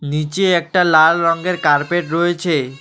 নীচে একটা লাল রঙের কার্পেট রয়েছে।